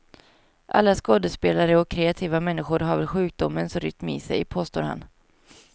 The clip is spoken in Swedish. Alla skådespelare och kreativa människor har väl sjukdomens rytm i sig, påstår han.